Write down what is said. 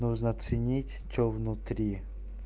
нужно ценить что внутри